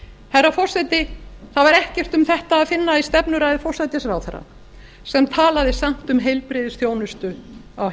herra forseti það var ekkert um þetta að finna í stefnuræðu forsætisráðherra sem talaði samt um heilbrigðisþjónustu á